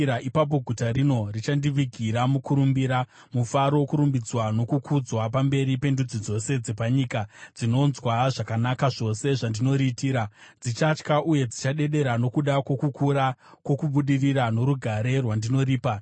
Ipapo guta rino richandivigira mukurumbira, mufaro, kurumbidzwa nokukudzwa pamberi pendudzi dzose dzepanyika dzinonzwa zvakanaka zvose zvandinoriitira; dzichatya uye dzichadedera nokuda kwokukura kwokubudirira norugare rwandinoripa.’